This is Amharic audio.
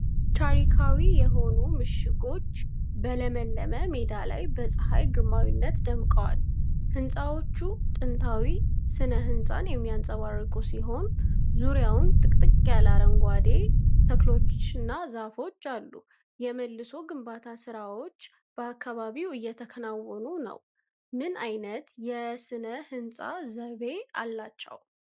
ታሪካዊ የሆኑ ምሽጎች በለመለመ ሜዳ ላይ በፀሐይ ግርማዊነት ደምቀዋል፡፡ ህንጻዎቹ ጥንታዊ ሥነ ሕንፃን የሚያንፀባርቁ ሲሆን፣ ዙሪያውን ጥቅጥቅ ያለ አረንጓዴ ተክሎችና ዛፎች አሉ። የመልሶ ግንባታ ሥራዎች በአካባቢው እየተከናወኑ ነው። ምን ዓይነት የሥነ ሕንፃ ዘይቤ አላቸው?